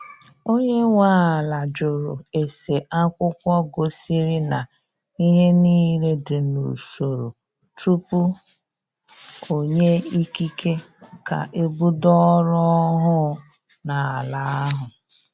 Onye nwe ala jụrụ ese akwụkwọ gosiri na ihe niile dị n'usoro tupu onye ikike ka ebido ọrụ ọhụụ n' ala ahụ.